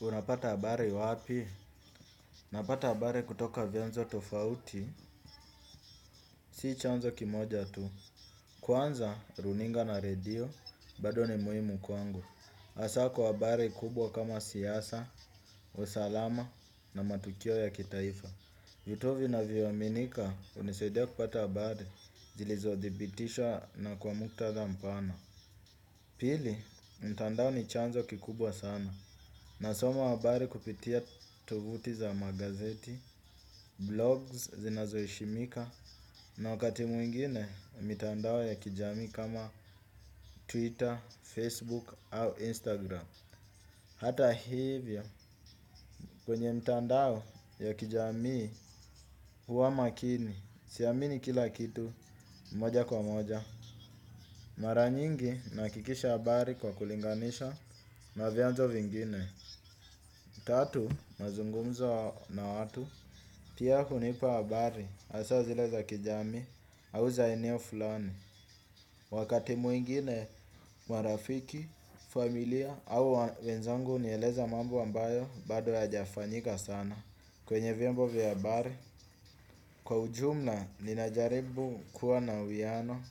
Unapata habari wapi? Napata habari kutoka vyanzo tofauti, si chanzo kimoja tu. Kwanza, runinga na redio bado ni muhimu kwangu. Hasaa kwa habari kubwa kama siasa, usalama na matukio ya kitaifa. Vituo vinavyoaminika hunisaidia kupata habari, zilizodhibitishwa na kwa muktadha mpana. Pili, mtandao ni chanzo kikubwa sana. Nasoma habari kupitia tovuti za magazeti, blogs zinazoheshimika. Na wakati mwingine mitandao ya kijamii kama Twitter, Facebook au Instagram. Hata hivyo kwenye mitandao ya kijamii huwa makini, si amini kila kitu moja kwa moja. Mara nyingi nahakikisha habari kwa kulinganisha na vyanzo vingine. Tatu, mazungumzo na watu pia hunipa habari hasa zile za kijamii au za eneo fulani. Wakati mwingine, marafiki, familia, au wenzangu, hunieleza mambo ambayo bado hayajafanyika sana, kwenye vyombo vya habari. Kwa ujumla, nina jaribu kuwa na uiano,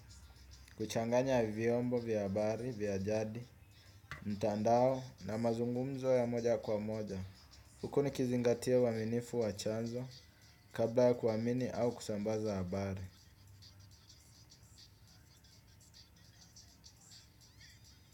kuchanganya vyombo vya habari vya jadi, mtandao, na mazungumzo ya moja kwa moja. Huku nikizingatia uaminifu wa chanzo kabla ya kuamini au kusambaza habari.